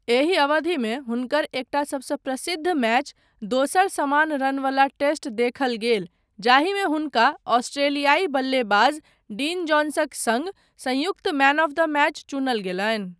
एहि अवधिमेँ हुनकर एकटा सबसँ प्रसिद्ध मैच, दोसर समान रनवला टेस्ट देखल गेल जाहिमे हुनका ऑस्ट्रेलियाई बल्लेबाज डीन जोन्सक सङ्ग संयुक्त मैन आफ द मैच चुनल गेलनि।